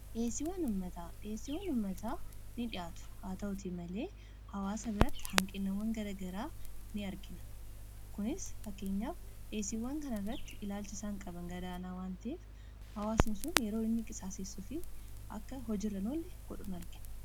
Dheessiiwwan ummataa ni dhiyaatu haa ta'utii malee hawaasa biratti hanqiniwwan garagaraa ni argina kunis fakkeenyaaf dheesiiwwan kana irratti ilaalchi isaan qaban gadaanaa wanteef hawaasani suun yeroo inni qisaasessuu fi akka hojirra hin ollee godhun argina.